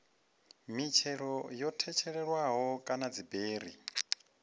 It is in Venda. mitshelo yo tshetshelelwaho kana dziberi